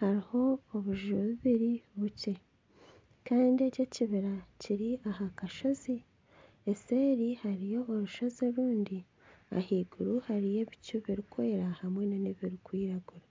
hariho obuju bibiri bukye kandi eki ekibiri kiri aha kashozi eseeri hariyo orushozi orundi ahaiguru hariyo ebicu birikwera hamwe n'ebirikwiragura